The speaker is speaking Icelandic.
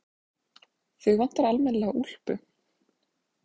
Þig vantar almennilega úlpu.